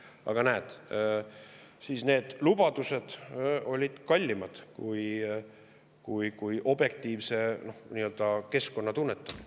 Aga näed, need lubadused olid kallimad kui objektiivse nii-öelda keskkonna tunnetamine.